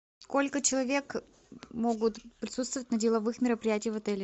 сколько человек могут присутствовать на деловых мероприятиях в отеле